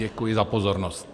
Děkuji za pozornost.